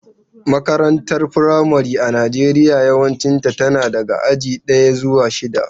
Makarantar firamare a Najeriya yawanci tana daga aji daya zuwa shida.